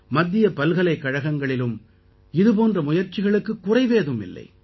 மத்திய பல்கலைக்கழகங்களிலும் இது போன்ற முயற்சிகளுக்குக் குறைவேதும் இல்லை